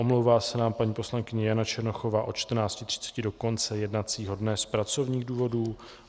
Omlouvá se nám paní poslankyně Jana Černochová od 14.30 do konce jednacího dne z pracovních důvodů.